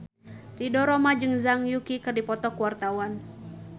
Ridho Roma jeung Zhang Yuqi keur dipoto ku wartawan